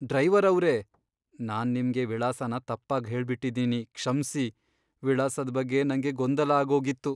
Driver ಅವ್ರೇ! ನಾನ್ ನಿಮ್ಗೆ ವಿಳಾಸನ ತಪ್ಪಾಗ್ ಹೇಳ್ಬಿಟಿದೀನಿ, ಕ್ಷಮ್ಸಿ. ವಿಳಾಸದ್ ಬಗ್ಗೆ ನಂಗೆ ಗೊಂದಲ ಆಗೋಗಿತ್ತು.